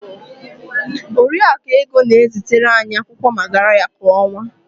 Oriakụ Ego na-ezitere anyị akwụkwọ magarya kwa ọnwa.